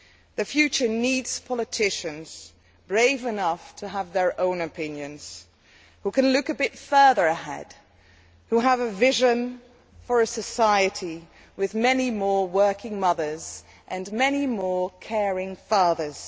The future needs politicians brave enough to have their own opinions, who can look a bit further ahead, and who have a vision for a society with many more working mothers and many more caring fathers.